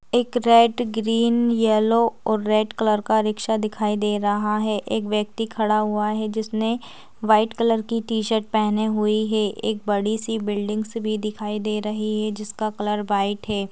एक red green yellow और red colour का रिक्शा दिखाई दे रहा है। एक व्यक्ति खड़ा हुआ है। जिसने व्हाइट कलर की टी शर्ट पहने हुई है। एक बड़ी सी बिल्डिंगस भी दिखाई दे रही है। जिसका कलर व्हाइट है ।